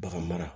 Bagan mara